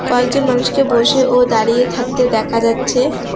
কয়েকজন মানুষকে বসে ও দাঁড়িয়ে থাকতে দেখা যাচ্ছে।